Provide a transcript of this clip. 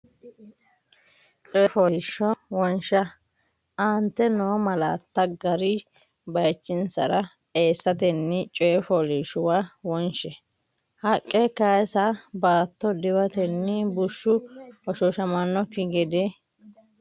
Coyi fooliishsho wonsha Aante noo malaatta gari bayichinsara eessatenni coyi fooliishshuwa won she, Haqqa kayisa baatto diwatenni bushshu hoshooshamannokki gede?